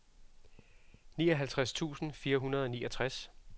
nioghalvtreds tusind fire hundrede og niogtres